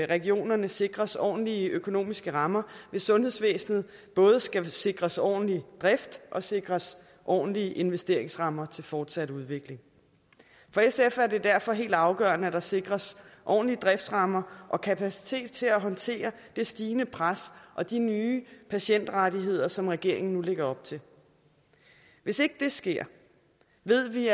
regionerne sikres ordentlige økonomiske rammer hvis sundhedsvæsenet både skal sikres en ordentlig drift og sikres ordentlige investeringsrammer til en fortsat udvikling for sf er det derfor helt afgørende at der sikres ordentlige driftsrammer og kapacitet til at håndtere det stigende pres og de nye patientrettigheder som regeringen nu lægger op til hvis ikke det sker ved vi